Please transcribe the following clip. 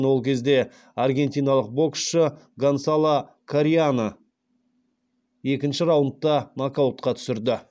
ол кезде аргентиналық боксшы гонсало корияны екінші раундта нокаутқа түсірді